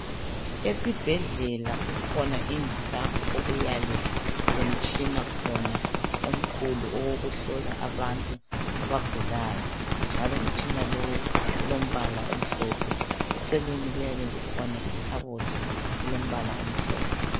Esibhedlela kukhona indlu lapho okuyabe kulomtshina khona omkhulu owokuhlola abantu abagulayo njalo umtshina lowu ulombala omhlophe eceleni kuyabe kukhona ikhabothi elombala omhlophe.